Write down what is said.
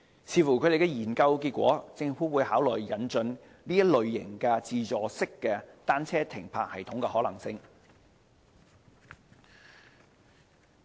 視乎研究結果，政府會考慮引進這類自助式單車停泊系統的可行性。